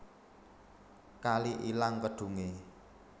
Kali ilang kedhunge